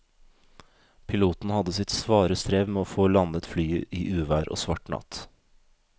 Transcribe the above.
Piloten hadde sitt svare strev med å få landet flyet i uvær og svart natt.